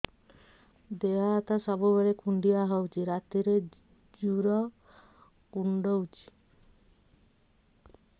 ଦେହ ହାତ ସବୁବେଳେ କୁଣ୍ଡିଆ ହଉଚି ରାତିରେ ଜୁର୍ କୁଣ୍ଡଉଚି